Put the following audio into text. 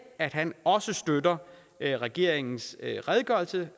at han også støtter regeringens redegørelse